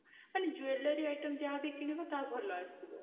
ମାନେ jewellery item ଯାହା ବି କିଣିବ ତାହା ଭଲ ଆସିବ